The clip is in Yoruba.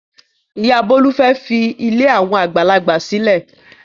Ìyá Bólú fẹ́ fi ilé àwọn àgbàlagbà sílẹ̀.